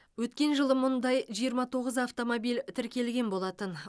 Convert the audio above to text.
өткен жылы мұндай жиырма тоғыз автомобиль тіркелген болатын